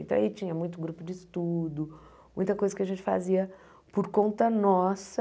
Então, aí tinha muito grupo de estudo, muita coisa que a gente fazia por conta nossa,